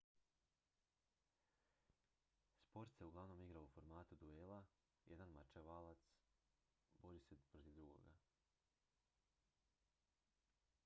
sport se uglavnom igra u formatu duela jedan mačevalac bori se protiv drugoga